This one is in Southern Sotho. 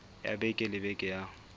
ya beke le beke ya